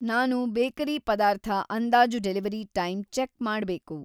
ನಾನು ಬೇಕರಿ‌ ಪದಾರ್ಥ ಅಂದಾಜು ಡೆಲಿವರಿ ಟೈಮ್‌ ಚೆಕ್‌ ಮಾಡ್ಬೇಕು.